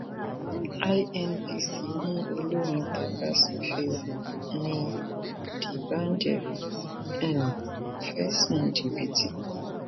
inpc mú olórin tajàsùfèé n ni dbanj um fẹsùn jìbìtì